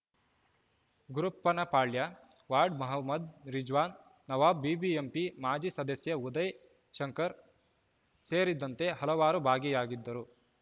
Gurappanapalya ward Mohammed Rizwan Nawab BBMP ಮಾಜಿ ಸದಸ್ಯ ಉದಯ ಶಂಕರ್‌ ಸೇರಿದಂತೆ ಹಲವರು ಭಾಗಿಯಾಗಿದ್ದರು